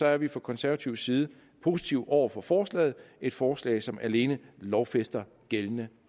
er vi fra konservatives side positive over for forslaget et forslag som alene lovfæster gældende